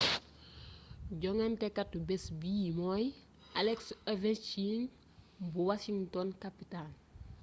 jongantekatu bés bi mooy alex ovechkin bu washington capitals